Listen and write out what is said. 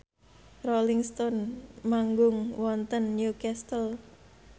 Rolling Stone manggung wonten Newcastle